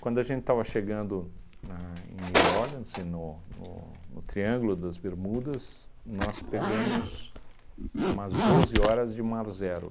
Quando a gente estava chegando na em New Orleans, e no no no Triângulo das Bermudas, nós pegamos umas doze horas de mar zero.